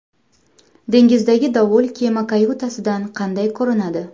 Dengizdagi dovul kema kayutasidan qanday ko‘rinadi?